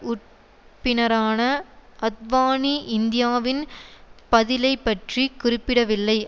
உட்ப்பினரான அத்வானி இந்தியாவின் பதிலைப்பற்றிக் குறிப்பிடவில்லை